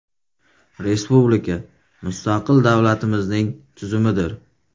Respublika – mustaqil davlatimizning tuzumidir.